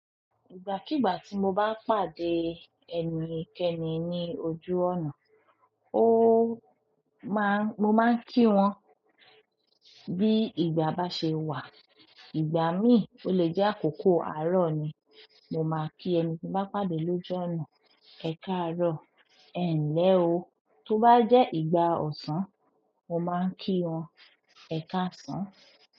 Ìgbàkígbà tí mo bá pàdé ẹnikẹ́ni ní ojú ọ̀nà, ó máa-- mo máa ń kí wọn. Bí ìgbà bá ṣe wà, ìgbà mí ò le jẹ́ àkókò àárọ̀ ni, mo máa kí ẹni tí bá pàdé lójú ọ̀nà "Ẹ kàárọ̀", ẹ ǹlẹ̀ o. Tó bá jẹ́ ìgbà ọ̀sán, mo máa ń kí wọn "Ẹ káàsán".